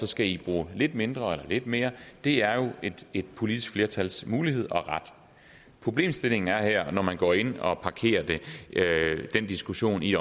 skal i bruge lidt mindre eller lidt mere det er et politisk flertals mulighed og ret problemstillingen er her når man går ind og parkerer den diskussion i